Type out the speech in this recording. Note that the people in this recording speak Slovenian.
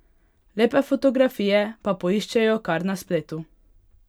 Lepe fotografije pa poiščejo kar na spletu.